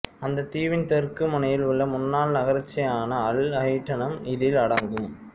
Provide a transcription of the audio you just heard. அந்த தீவின் தெற்கு முனையில் உள்ள முன்னாள் நகராட்சியான அல் ஹட்டினும் இதில் அடங்கும்